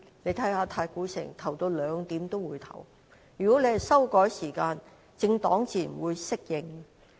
如果政府修改投票時間，政黨自然會適應。